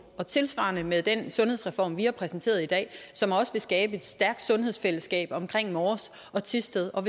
og tilsvarende med den sundhedsreform vi har præsenteret i dag som også vil skabe et stærkt sundhedsfællesskab omkring mors og thisted og